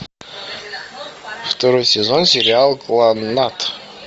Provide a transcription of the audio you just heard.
второй сезон сериал кланнад